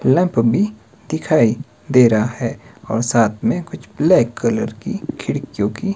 lamp भीं दिखाई दे रहा हैं और साथ में कुछ ब्लैक कलर की खिडकीयों की--